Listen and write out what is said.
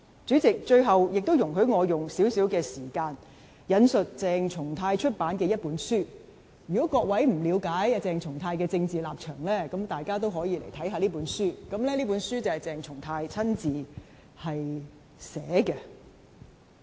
主席，最後，請容許我花少許時間，引述鄭松泰出版的一本書，如果各位不了解鄭松泰的政治立場，大可讀讀這本鄭松泰親自撰寫的書。